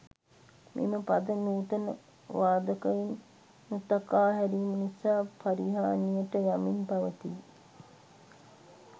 මෙම පද නූතන වාදකයින් නොතකා හැරීම නිසා පරිහානියට යමින් පවතී.